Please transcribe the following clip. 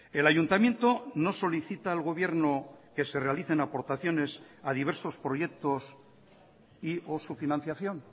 el ayuntamiento no solicita al gobierno que se realicen aportaciones a diversos proyectos y o su financiación